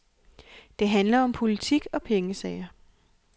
Det handler om politik og pengesager.